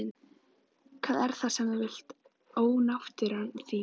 Hvað er það sem þú vilt ónáttúran þín?